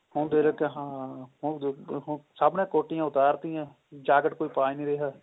ਹੁਣ ਦੇਖ ਹਾਂ ਹੁਣ ਸਬ ਹੁਣ ਸਬ ਨੇ ਕੋਟੀਆਂ ਉਤਾਰ ਤੀਆਂ ਜਾਕਟ ਕੋਈ ਪਾ ਨਹੀਂ ਰਿਹਾ